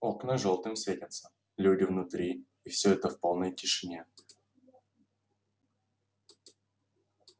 окна жёлтым светятся люди внутри и всё это в полной тишине